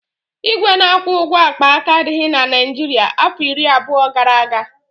Igwe na-akwụ ụgwọ akpaaka adịghị na Naịjirịa afọ iri abụọ gara aga